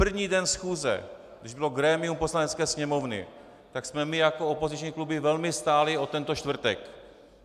První den schůze, když bylo grémium Poslanecké sněmovny, tak jsme my jako opoziční kluby velmi stáli o tento čtvrtek.